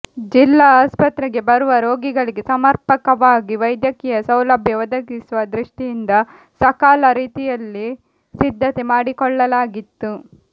ಜಿಲ್ಲಾ ಆಸ್ಪತ್ರೆಗೆ ಬರುವ ರೋಗಿಗಳಿಗೆ ಸಮರ್ಪಕವಾಗಿ ವೈದ್ಯಕೀಯ ಸೌಲಭ್ಯ ಒದಗಿಸುವ ದೃಷ್ಟಿಯಿಂದ ಸಕಲ ರೀತಿಯಲ್ಲಿ ಸಿದ್ಧತೆ ಮಾಡಿಕೊಳ್ಳಲಾಗಿತ್ತು